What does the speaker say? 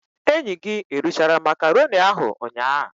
Enyi gi erichara macaroni ahu ụnyaa?